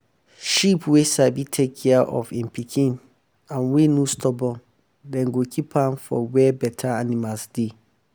sheep wey sabi take care of en pikin and wey no stubborn dem go keep am for wey better animals deh.